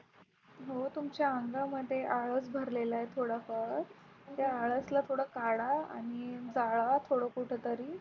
हो तुमच्या अंगामध्ये आळस भरलेला आहे थोडाफार त्या आळस ला थोडं काढा आणि जाळा थोडं कुठेतरी.